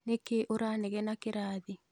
Nĩkĩĩ ũranegena kĩrathi